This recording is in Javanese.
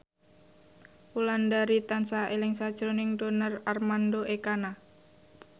Wulandari tansah eling sakjroning Donar Armando Ekana